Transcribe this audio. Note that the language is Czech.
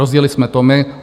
Rozjeli jsme to my.